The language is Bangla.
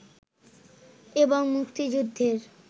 এবং মুক্তিযুদ্ধের